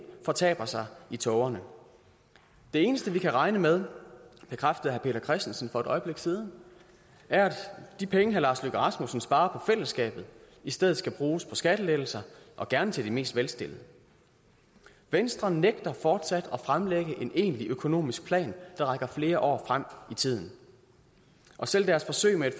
fortaber sig i tågerne det eneste vi kan regne med bekræftede herre peter christensen for et øjeblik siden er at de penge herre lars løkke rasmussen sparer på fællesskabet i stedet skal bruges på skattelettelser og gerne til de mest velstillede venstre nægter fortsat at fremlægge en egentlig økonomisk plan der rækker flere år frem i tiden og selv deres forsøg med et